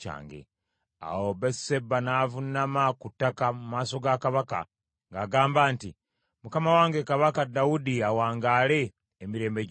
Awo Basuseba n’avuunama ku ttaka mu maaso ga kabaka ng’agamba nti, “Mukama wange Kabaka Dawudi awangaale emirembe gyonna!”